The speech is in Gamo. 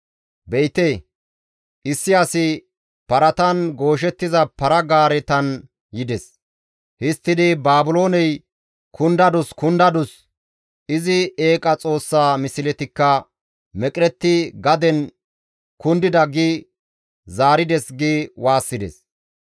Be7ite, issi asi paratan gooshettiza para-gaaretan yides; histtidi, ‹Baabilooney kundadus! Kundadus! izi eeqa xoossa misletikka meqeretti gaden kundida› gi zaarides» gi waassides.